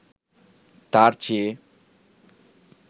তার চেয়ে